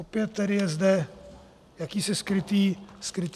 Opět je tedy zde jakýsi skrytý deficit.